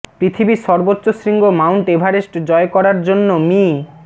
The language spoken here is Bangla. পৃথিবীর সর্বোচ্চ শৃঙ্গ মাউন্ট এভারেস্ট জয় করার জন্য মি